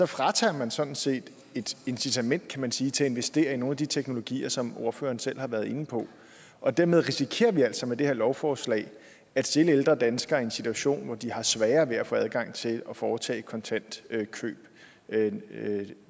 fratager man sådan set et incitament kan man sige til at investere i nogle af de teknologier som ordføreren selv har været inde på og dermed risikerer vi altså med det her lovforslag at stille ældre danskere i en situation hvor de har sværere ved at få adgang til at foretage kontantkøb